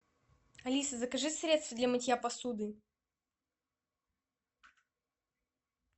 алиса закажи средство для мытья посуды